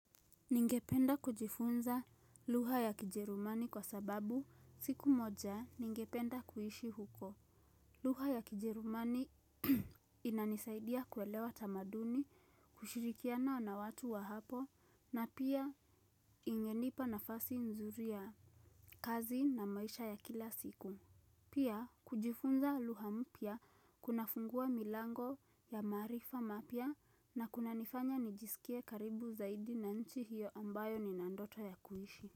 Ningependa kujifunza lugha ya kijerumani kwa sababu siku moja ningependa kuishi huko. Lugha ya kijerumani inanisaidia kuelewa tamaduni, kushirikiana na watu wa hapo, na pia ingenipa nafasi nzuri ya kazi na maisha ya kila siku. Pia kujifunza lugha mpya kuna fungua milango ya marifa mapya na kunanifanya nijisikie karibu zaidi na nchi hiyo ambayo nina ndoto ya kuishi.